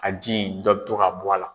A ji dɔ bi to ka bɔ a la